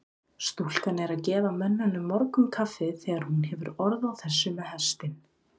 Stúlkan er að gefa mönnunum morgunkaffið þegar hún hefur orð á þessu með hestinn.